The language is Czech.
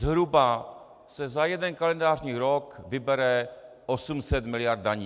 Zhruba se za jeden kalendářní rok vybere 800 mld. daní.